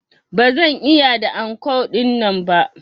Ba zan iya da anko dinnan ba.